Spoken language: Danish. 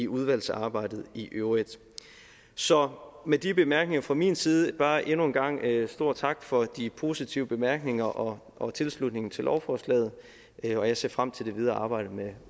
udvalgsarbejdet i øvrigt så med de bemærkninger fra min side vil jeg bare endnu en gang sige en stor tak for de positive bemærkninger og og tilslutningen til lovforslaget jeg ser frem til det videre arbejde med